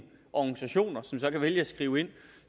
organisationer som så kan vælge at skrive ind